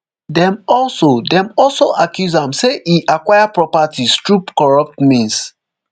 dem also dem also accuse am say e acquire properties through corrupt means